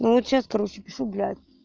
ну вот сейчас короче пишу блять